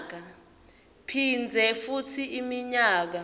phindze futsi iminyaka